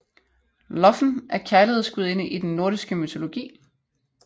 Lofn er kærlighedsgudinde i den nordiske mytologi